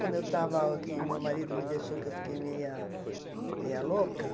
Quando eu estava aqui, meu marido me deixou que eu fiquei meia meia louca.